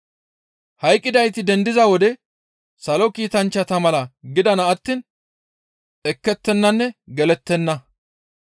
Hayqqidayti dendiza wode Salo Kiitanchchata mala gidana attiin ekettettenanne gelettenna.